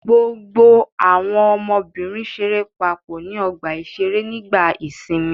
Gbogbo àwọn ọmọbìnrin ṣeré papọ̀ ní ọgbà-ìṣeré nígbà ìsìnmi.